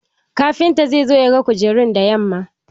Kafinta zai zo ya ga kujerun da yamma.